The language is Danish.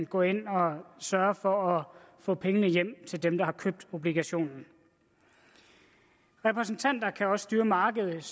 gå ind og sørge for at få pengene hjem til dem der har købt obligationen repræsentanter kan også styrke markedet